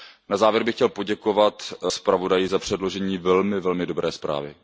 Na závěr bych chtěl poděkovat zpravodaji za předložení velmi dobré zprávy.